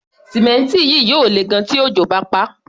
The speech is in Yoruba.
Símẹ́ǹtì yìí yóò lè gan-an tí òjò bá paá.